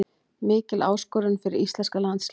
Mikil áskorun fyrir íslenska landsliðið